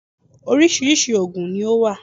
Orísirísi ògùn ni ó wà